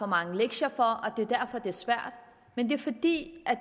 mange lektier for at det er svært men det er fordi